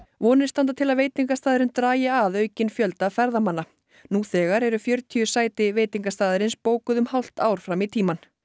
vonir standa til að veitingastaðurinn dragi að aukinn fjölda ferðamanna nú þegar eru fjörutíu sæti veitingastaðarins bókuð um hálft ár fram í tímann